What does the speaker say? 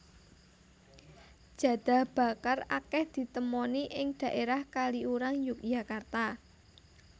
Jadah bakar akèh ditemoni ing dhaérah Kaliurang Yogyakarta